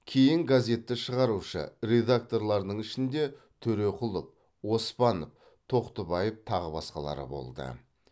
кейін газетті шығарушы редакторлардың ішінде төреқұлов оспанов тоқтыбаев тағы басқалары болды